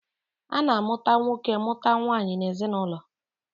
A na-amụta nwoke mụta nwaanyị n'ezinaụlọ.